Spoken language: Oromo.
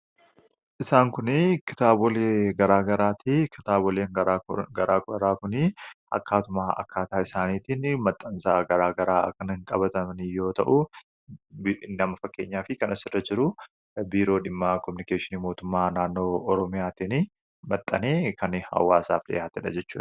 Isaan kuni kitaabolee garaa garaati. Kitaabolee garaa garaa kuni akkaatuma akkaataa isaaniitiini maxxansa garaa garaa kan qabatani yoo ta'u, fakkeenyaaf kan asirra jiru Biiroo Kominikeeshinii Mootummaa Naannoo Oromiyaatiini maxxanee hawwaasaaf dhiyaatedha jechuudha.